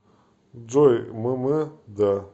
джой мм да